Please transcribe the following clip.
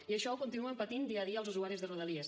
i això ho continuen patint dia a dia els usuaris de rodalies